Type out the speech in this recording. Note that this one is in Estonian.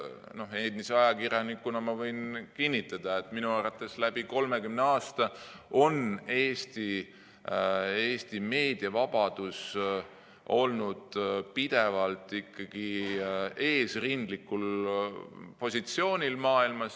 Endise ajakirjanikuna võin kinnitada, et minu arvates on läbi 30 aasta Eesti meediavabadus olnud pidevalt maailmas ikkagi eesrindlikul positsioonil.